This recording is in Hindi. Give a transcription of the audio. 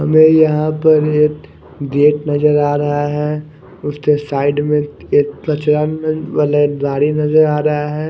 हमे यहा पर एक गेट नजर आ रह है उसके साइड में एक कचरा मेल वाला एक गाड़ी नजर आ रहा है।